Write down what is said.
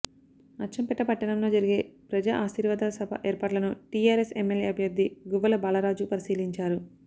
అచ్చంపేట పట్టణంలో జరిగే ప్రజా ఆశీర్వాద సభ ఏర్పాట్లను టీఆర్ఎస్ ఎమ్మెల్యే అభ్యర్థి గువ్వల బాలరాజు పరిశీలించారు